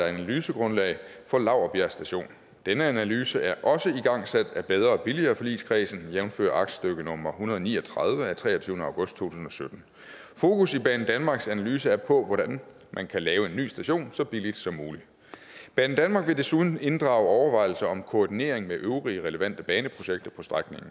analysegrundlag for laurbjerg station denne analyse er også igangsat af bedre og billigere forligskredsen jævnfør aktstykke nummer en hundrede og ni og tredive af treogtyvende august to tusind og sytten fokus i banedanmarks analyse er på hvordan man kan lave en ny station så billigt som muligt banedanmark vil desuden inddrage overvejelser om koordinering med øvrige relevante baneprojekter på